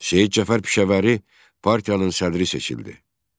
Şeyx Cəfər Pişəvəri partiyanın sədri seçildi.